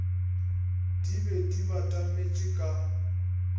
di be di batametše ka